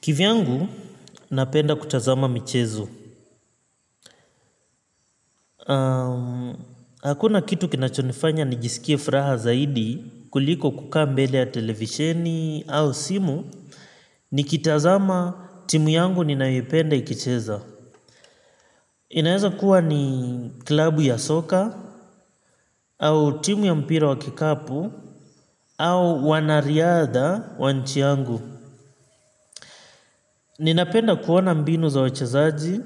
Kivyangu, napenda kutazama mchezo. Hakuna kitu kinachonifanya nijisikie furaha zaidi kuliko kukaa mbele ya televisheni au simu, nikitazama timu yangu ninayoipenda ikicheza. Inaweza kuwa ni klabu ya soka, au timu ya mpira wa kikapu, au wanariadha wa nchi yangu. Ninapenda kuona mbinu za wachezaji,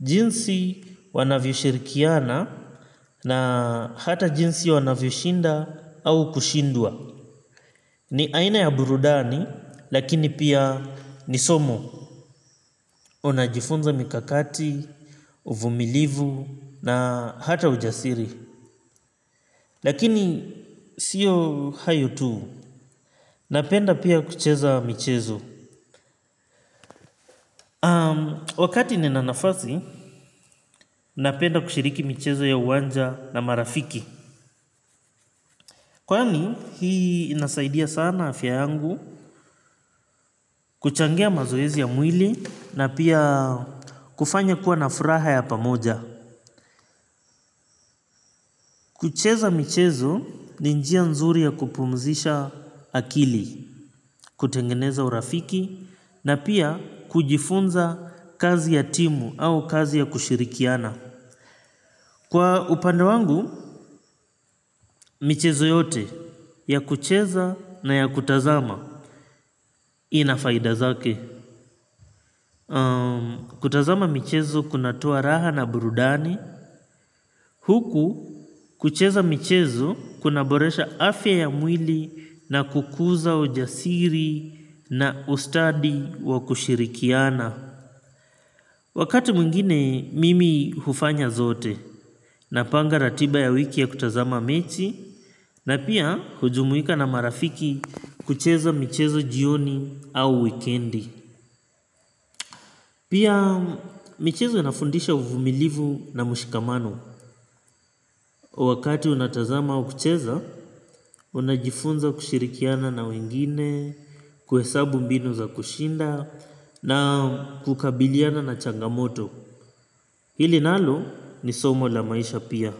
jinsi wanavyoshirikiana, na hata jinsi wanavyoshinda au kushindwa. Ni aina ya burudani, lakini pia ni somo. Unajifunza mikakati, uvumilivu, na hata ujasiri. Lakini sio hayo tuu. Napenda pia kucheza michezo. Wakati nina nafasi, napenda kushiriki michezo ya uwanja na marafiki. Kwani hii inasaidia sana afya yangu kuchangia mazoezi ya mwili na pia kufanya kuwa na furaha ya pamoja. Kucheza michezo ni njia nzuri ya kupumzisha akili, kutengeneza urafiki na pia kujifunza kazi ya timu au kazi ya kushirikiana. Kwa upande wangu, michezo yote ya kucheza na ya kutazama, ina faida zake. Kutazama michezo kunatoa raha na burudani. Huku kucheza michezo kunaboresha afya ya mwili na kukuza ujasiri na ustadi kwa kushirikiana. Wakati mwingine mimi hufanya zote. Napanga ratiba ya wiki ya kutazama mechi. Na pia kujumuika na marafiki kucheza michezo jioni au wikendi. Pia michezo inafundisha uvumilivu na ushikamano. Wakati unatazama au kucheza, unajifunza kushirikiana na wengine, kuhesabu mbinu za kushinda, na kukabiliana na changamoto. Hili nalo ni somo la maisha pia.